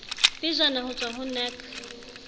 pejana ho tswa ho nac